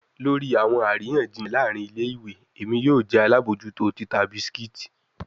Lori awọn ariyanjiyan laarin ile-iwe, Emi yoo jẹ alabojuto tita biscuits